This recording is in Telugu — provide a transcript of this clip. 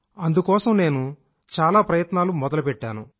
అందుకోసం నేను చాలా ప్రయత్నాలు చెయ్యడం మొదలెట్టాను